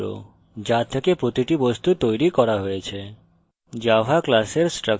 class একটি প্রতিচিত্র যা থেকে প্রতিটি বস্তু তৈরি করা হয়েছে